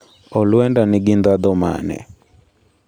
Olwenda nigi ndhadho mane?